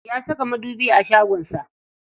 Ya saka madubi a shagon sa.